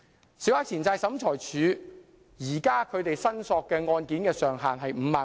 現時小額錢債審裁處處理的申索金額上限是5萬元。